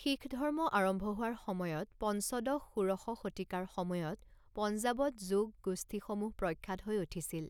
শিখ ধৰ্ম আৰম্ভ হোৱাৰ সময়ত পঞ্চদশ ষোড়শ শতিকাৰ সময়ত পঞ্জাৱত যোগ গোষ্ঠীসমূহ প্ৰখ্যাত হৈ উঠিছিল।